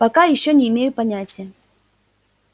пока ещё не имею понятия